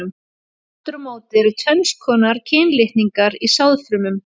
Aftur á móti eru tvenns konar kynlitningar í sáðfrumum.